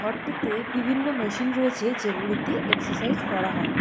ঘরটিতে বিভিন্ন মেশিন রয়েছে যেগুলিতে এক্সারসাইজ করা হয়।